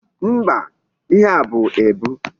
Mba, ihe a bụ ebu?